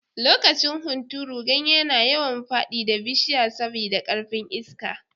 Lokacin hunturu, ganye na yawan fadi da bishiya sabi da karfin Iska.